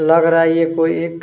लग रहा है यह कोई एक --